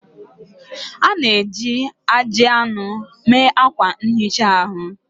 A na-eji ajị anụ mee akwa nhicha ahu